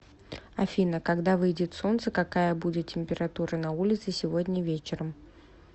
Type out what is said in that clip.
афина когда выйдет солнце какая будет температура на улице сегодня вечером